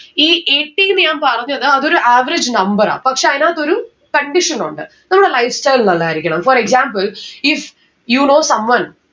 ഈ eighty ന്ന്‌ ഞാൻ പറഞ്ഞത് അതൊരു average number ആ. പക്ഷെ അയിനാത്തൊരു condition ഉണ്ട്. നമ്മളെ lifestyle നല്ലതായിരിക്കണം. for example if you know someone